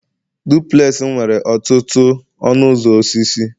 duplex m nwere ọtụtụ ọnụ ụzọ osisi